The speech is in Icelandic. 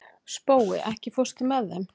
Spói, ekki fórstu með þeim?